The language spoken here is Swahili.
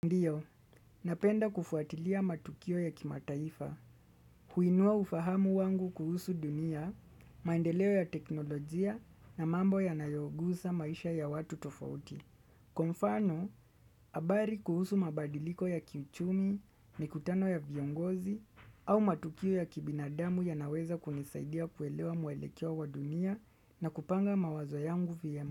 Ndio, napenda kufuatilia matukio ya kimataifa, huinua ufahamu wangu kuhusu dunia, maendeleo ya teknolojia na mambo yanayogusa maisha ya watu tofauti. Kwa mfano, habari kuhusu mabadiliko ya kiuchumi, mikutano ya viongozi, au matukio ya kibinadamu yanaweza kunisaidia kuelewa mwelekeo wa dunia na kupanga mawazo yangu vyema.